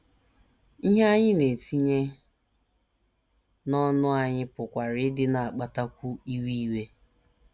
Ihe anyị na - etinye n’ọnụ anyị pụkwara ịdị na - akpatakwu iwe iwe.